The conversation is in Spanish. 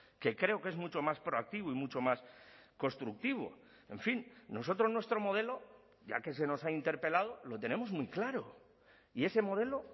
que creo que es mucho más proactivo y mucho más constructivo en fin nosotros nuestro modelo ya que se nos ha interpelado lo tenemos muy claro y ese modelo